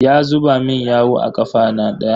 Ya zuba min yawu a kafaɗa na.